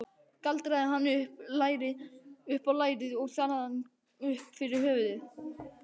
Galdraði hann upp á lærið og þaðan upp fyrir höfuðið.